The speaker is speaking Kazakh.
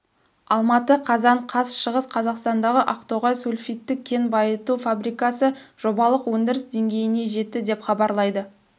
алматы қазан қаз шығыс қазақстандағы ақтоғай сульфидті кен байыту фабрикасы жобалық өндіріс деңгейіне жетті деп хабарлайды